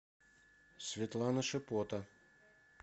светлана шипота